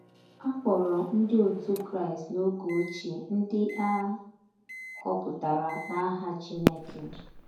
A kpọrọ ndị otú Kraịst n'oge ochie, ndị a họpụtara n'aha Chineke.